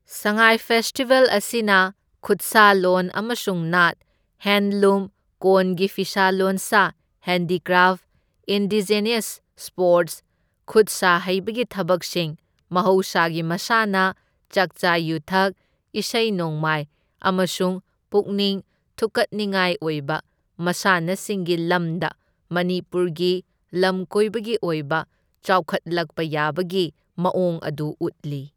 ꯁꯉꯥꯏ festival ꯑꯁꯤꯅ ꯈꯨꯠꯁꯥꯂꯣꯟ ꯑꯃꯁꯨꯡ ꯅꯥꯠ, ꯍꯦꯟꯗꯂꯨꯝ, ꯀꯣꯟꯒꯤ ꯐꯤꯁꯥ ꯂꯣꯟꯁꯥ, ꯍꯦꯟꯗꯤꯀ꯭ꯔꯥꯐ, ꯏꯟꯗꯤꯖꯦꯅꯁ ꯁ꯭ꯄꯣꯔꯇꯁ, ꯈꯨꯠꯁꯥ ꯍꯩꯕꯒꯤ ꯊꯕꯛꯁꯤꯡ, ꯃꯍꯧꯁꯥꯒꯤ ꯃꯁꯥꯅ, ꯆꯥꯛꯆꯥ ꯌꯨꯊꯛ, ꯏꯁꯩ ꯅꯣꯡꯃꯥꯏ ꯑꯃꯁꯨꯡ ꯄꯨꯛꯅꯤꯡ ꯊꯨꯛꯀꯠꯅꯤꯉꯥꯏ ꯑꯣꯏꯕ ꯃꯁꯥꯟꯅꯁꯤꯡꯒꯤ ꯂꯝꯗ ꯃꯅꯤꯄꯨꯔꯒꯤ ꯂꯝꯀꯣꯏꯕꯒꯤ ꯑꯣꯏꯕ ꯆꯥꯎꯈꯠꯂꯛꯕ ꯌꯥꯕꯒꯤ ꯃꯑꯣꯡ ꯑꯗꯨ ꯎꯠꯂꯤ꯫